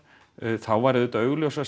þá væri líka augljósast